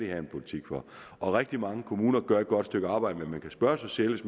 have en politik for rigtig mange kommuner gør et godt stykke arbejde men man kan spørge sig selv